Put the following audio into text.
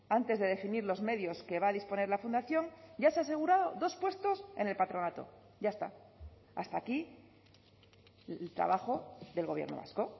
antes de definir los medios que va a disponer la fundación ya se ha asegurado dos puestos en el patronato ya está hasta aquí el trabajo del gobierno vasco